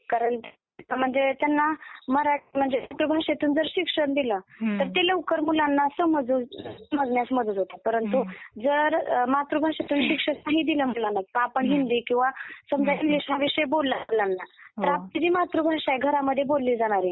कारण म्हणजे त्यांना मराठी मातृभाषेतून जर शिक्षण दिलं तर ते लवकर मुलांना समजण्यास मदत होते; परंतु जर मातृभाषेतून शिक्षण नाही दिलं मुलांना तर आपण हिंदी किंवा समजा इंग्लिश हा विषय बोलायला लागला तर आपली जी मातृभाषा आहे घरामध्ये बोलली जाणारी...